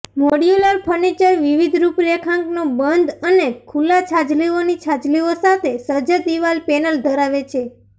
modular furniture વિવિધ રૂપરેખાંકનો બંધ અને ખુલ્લા છાજલીઓની છાજલીઓ સાથે સજ્જ દિવાલ પેનલ ધરાવે છે